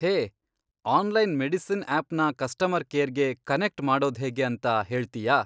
ಹೇ, online medicine ಆ್ಯಪ್ನ customer ಕೇರ್ಗೆ connect ಮಾಡೋದ್ಹೇಗೆ ಅಂತ ಹೇಳ್ತೀಯಾ?